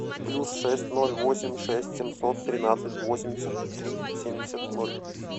плюс шесть ноль восемь шесть семьсот тринадцать восемьдесят три семьдесят ноль